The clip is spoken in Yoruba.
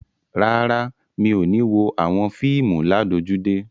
Rárá, mi ò ní wo àwọn fíìmù ládojúdé.